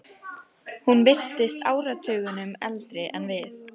Hún virtist áratugunum eldri en við.